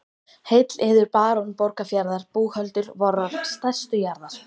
Heill yður barón Borgarfjarðar búhöldur vorrar stærstu jarðar.